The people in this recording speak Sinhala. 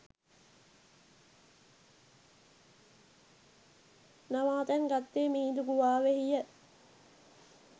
නවාතැන් ගත්තේ මිහිඳු ගුහාවෙහිය.